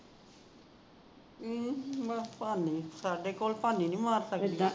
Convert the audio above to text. ਹਮ ਭਾਨੀ ਸਾਡੇ ਕੋਲ ਭਾਨੀ ਨੀ ਮਾਰ ਸਕਦੀ